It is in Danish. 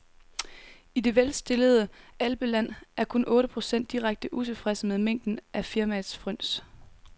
I det velstillede alpeland er kun otte procent direkte utilfredse med mængden af firmaets fryns.